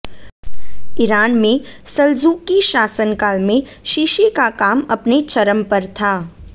Iran में सल्जूक़ी शासनकाल में शीशे का काम अपने चरम पर था